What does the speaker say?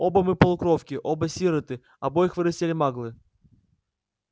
оба мы полукровки оба сироты обоих вырастили маглы